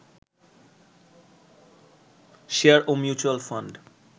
share ও mutual fund